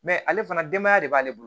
ale fana denbaya de b'ale bolo